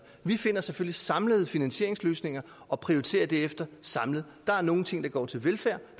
vi finder selvfølgelig samlede finansieringsløsninger og prioriterer derefter samlet der er nogle ting der går til velfærd